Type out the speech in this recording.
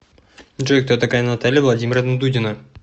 джой кто такая наталья владимировна дудина